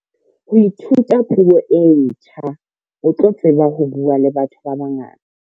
Ha o ithuta puo e ntjha o tla tseba ho buaa le batho ba bangata.